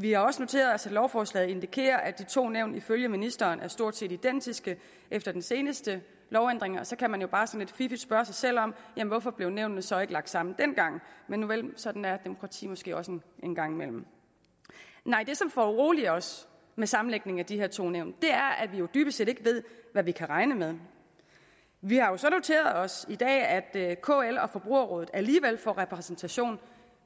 vi har også noteret os at lovforslaget indikerer at de to nævn ifølge ministeren er stort set identiske efter den seneste lovændring og så kan man jo bare sådan lidt fiffigt spørge sig selv om hvorfor nævnene så ikke blev lagt sammen dengang men nuvel sådan er demokrati måske også en gang imellem det som foruroliger os med sammenlægningen af de her to nævn er at vi jo dybest set ikke ved hvad vi kan regne med vi har jo så noteret os i dag at kl og forbrugerrådet alligevel får repræsentation